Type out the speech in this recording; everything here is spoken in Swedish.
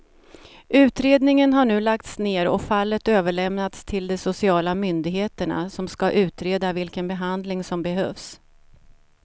Utredningen har nu lagts ner och fallet överlämnats till de sociala myndigheterna som ska utreda vilken behandling som behövs.